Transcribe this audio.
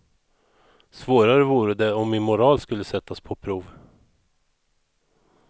Svårare vore det om min moral skulle sättas på prov.